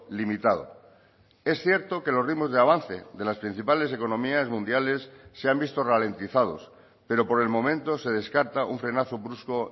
limitado es cierto que los ritmos de avance de las principales economías mundiales se han visto ralentizados pero por el momento se descarta un frenazo brusco